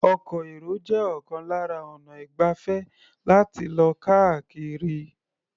Ọkọ̀-èrò jẹ́ ọ̀kan lára ọnà ìgbafẹ́ láti lọ káàkiri.